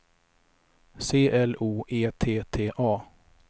C L O E T T A